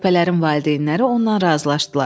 Körpələrin valideynləri ondan razılaşdılar.